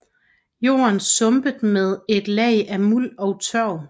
Jorden sumpet med et lag af muld og tørv